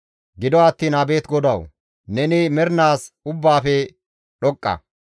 Gido attiin abeet GODAWU! Neni mernaas ubbaafe dhoqqa.